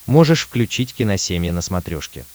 можешь включить киносемья на смотрешке